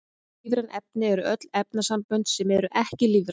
Ólífræn efni eru öll efnasambönd sem eru ekki lífræn.